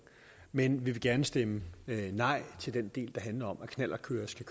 med en vil gerne stemme nej til den del der handler om at knallertkørere skal